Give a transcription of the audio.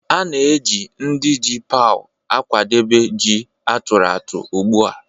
A na-eji ndị ji paụ̀ akwadebe ji a tụrụ atụ̀ ugbu a